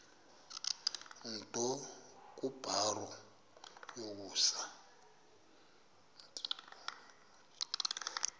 nto kubarrow yokusa